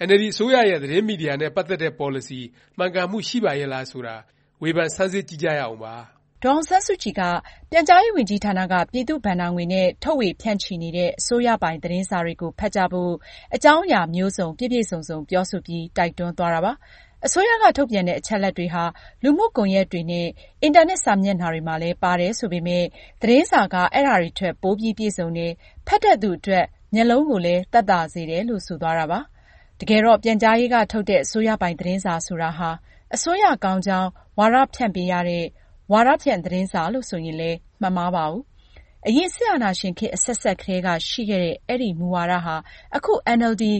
အင်န်အယ်လ်ဒီ အစိုးရရဲ့ သတင်းမီဒီယာ နဲ့ ပတ်သက်တဲ့ ပေါ်လစီ မှန်ကန်မှု ရှိပါရဲ့လား ဆိုတာ ဝေဖန်ဆန်းစစ်ကြည့်ကြရအောင်ပါ။ ဒေါ်အောင်ဆန်းစုကြည်က ပြန်ကြားရေးဝန်ကြီးဌာနက ပြည်သူ့ဘဏ္ဍာငွေနဲ့ ထုတ်ေ၀ ဖြန့်ချီနေတဲ့ အစိုးရပိုင် သတင်းစာတွေကို ဖတ်ကြဖို့ အကြောင်းအရာမျိုးစုံ ပြည့်ပြည့်စုံစုံ ပြောဆိုပြီး တိုက်တွန်းသွားတာပါ။ အစိုးရက ထုတ်ပြန်တဲ့ အချက်အလက်တွေဟာ လူမှုကွန်ယက်တွေနဲ့ အင်တာနက် စာမျက်နှာတွေမှာလည်း ပါတယ် ဆိုပေမယ့် သတင်းစာက အဲဒါတွေထက် ပိုပြီး ပြည့်စုံတယ်၊ ဖတ်တဲ့သူအတွက် မျက်လုံးကိုလည်း သက်သာစေတယ်လို့ ဆိုသွားတာပါ။ တကယ်တော့ ပြန်ကြားရေးက ထုတ်တဲ့ အစိုးရပိုင် သတင်းစာဆိုတာဟာ အစိုးရကောင်းကြောင်း ဝါဒဖြန့်ပေးရတဲ့ ဝါဒဖြန့် သတင်းစာလို့ ဆိုရင်လည်း မမှားပါဘူး။ အရင် စစ်အာဏာရှင်ခေတ် အဆက်ဆက်ကတည်းက ရှိခဲ့တဲ့ အဲဒီ မူဝါဒဟာ အခု အင်န်အယ်လ်ဒီ